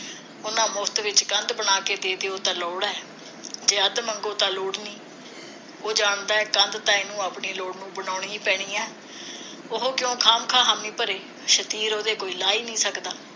ਉਨ੍ਹਾਂ ਮੁਫਤ ਵਿਚ ਕੰਧ ਬਣਾ ਕੇ ਦੇ ਦਿਓ ਉਹ ਤਾ ਲੋੜ ਹੈ ਜੇ ਅੱਧ ਮੰਗੋ ਤਾਂ ਲੋੜ ਨਹੀਂ ਉਹ ਜਾਣਦਾ ਹੈ ਕੰਧ ਤਾਂ ਇਹਨੂੰ ਆਪਣੀ ਲੋੜ ਨੂੰ ਬਣਾਉਣੀ ਹੈ ਪੈਣੀ ਹੈ ਉਹ ਕਿਉ ਖਾ ਮ ਖਾ ਹਾਮੀ ਭਰੇ ਸ਼ਤੀਰ ਉਹਦੇ ਕੋਈ ਲਾ ਹੀ ਨਹੀ ਸਕਦਾ